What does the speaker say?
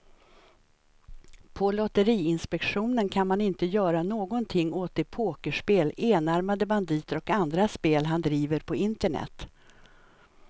På lotteriinspektionen kan man inte göra någonting åt de pokerspel, enarmade banditer och andra spel han driver på internet.